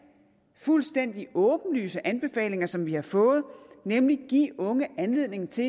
og fuldstændig åbenlyse anbefalinger som vi har fået nemlig at give unge anledning til